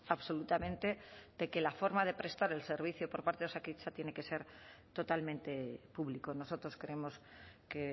absolutamente de que la forma de prestar el servicio por parte de osakidetza tiene que ser totalmente público nosotros creemos que